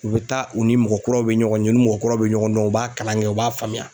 U bɛ taa u ni mɔgɔ kuraw bɛ ɲɔgɔn ye u ni mɔgɔ kuraw bɛ ɲɔgɔn dɔn u b'a kalan kɛ u b'a faamuya.